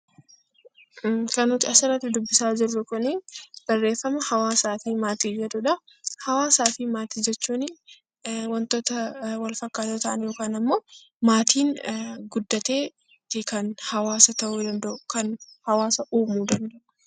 Kan nuti as irratti dubbisaa jirru kuni barreffama 'Hawaasaa fi Maatii' jedhu dha. Hawaasaa fi Maatii jechuun wantoota wal fakkaatoo ta'anii yookaan ammoo maatiin guddateeti kan hawaasa ta'uu danda'u, kan hawaasa uumuu dsnda'u.